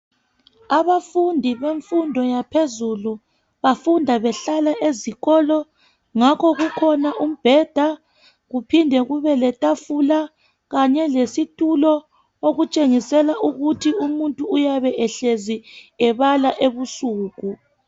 abafundi bemfundo yaphezulu bafunda behlala ezikolo ngakho kukhona umbheda kuphinde kube letafula kanye lesitulo okutshengisela ukuthi umuntu uyabe ehlezi ebala ebusuku